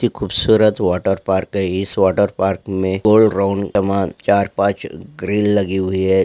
खूबसूरत water park है इस वाटर पार्क में गोल राउंड कमान चार-पांच ग्रील लगी हुई है।